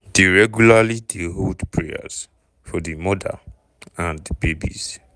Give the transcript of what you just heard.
dey regularly dey hold prayers for di mother and babies.